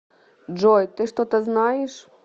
джой ты что то знаешь